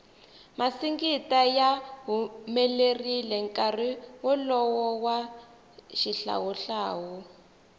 masingita ya humelerile nkarhi wolowo wa xihlawu hlawu